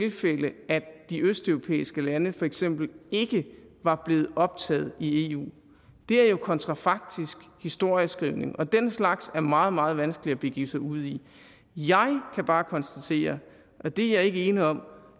de østeuropæiske lande for eksempel ikke var blevet optaget i eu det er jo kontrafaktisk historieskrivning og den slags er det meget meget vanskeligt at begive sig ud i jeg kan bare konstatere og det er jeg ikke ene om